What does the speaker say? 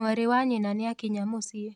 Mwarĩ wa nyina nĩakinya mũciĩ.